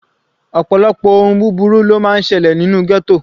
Ọ̀pọ̀lọpọ̀ ohun búburú ló máa ń selẹ̀ nínú ghetto.